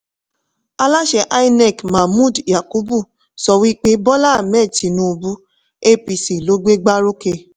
aláṣẹ inec mahmood yakubu sọ wí pé bọ́lá ahmed tinúubú apc ló gbé gba rókè.